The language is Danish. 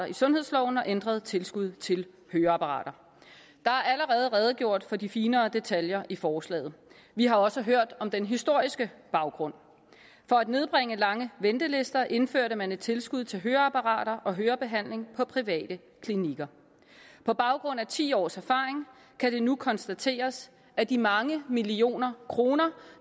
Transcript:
i sundhedsloven og ændret tilskud til høreapparater der er allerede redegjort for de finere detaljer i forslaget vi har også hørt om den historiske baggrund for at nedbringe lange ventelister indførte man et tilskud til høreapparater og hørebehandling på private klinikker på baggrund af ti års erfaring kan det nu konstateres at de mange millioner kroner